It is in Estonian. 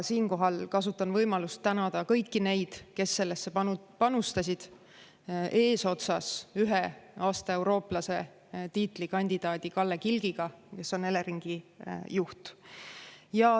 Siinkohal kasutan võimalust tänada kõiki neid, kes sellesse panustasid, eesotsas ühe aasta eurooplase tiitli kandidaadi Kalle Kilgiga, kes on Eleringi juht.